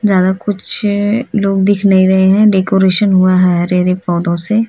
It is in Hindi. ज्यादा कुछ लोग दिख नहीं रहे हैं डेकोरेशन हुआ है हरे-हरे पौधों से